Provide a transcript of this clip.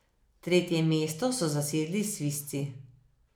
Tretje mesto so zasedli Svizci.